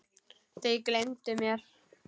Þau gleymdu mér.